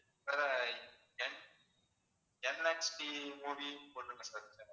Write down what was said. பிறகு என்எக்ஸ்டி மூவீஸையும் போட்டுருங்க சார்